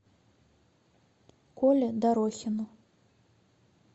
коле дорохину